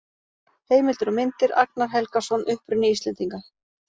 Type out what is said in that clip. Heimildir og myndir: Agnar Helgason: Uppruni Íslendinga.